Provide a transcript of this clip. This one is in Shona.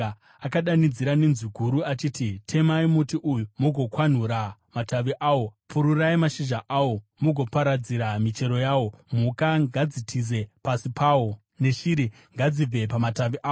Akadanidzira nenzwi guru achiti, ‘Temai muti uyu mugokwanhura matavi awo; pururai mashizha awo mugoparadzira michero yawo. Mhuka ngadzitize pasi pawo, neshiri ngadzibve pamatavi awo.